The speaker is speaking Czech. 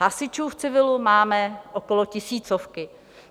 Hasičů v civilu máme okolo tisícovky.